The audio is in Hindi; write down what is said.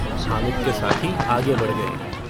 हामिद के साथी आगे बढ़ गये हैं।